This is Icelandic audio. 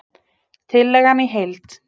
Tillagan í heild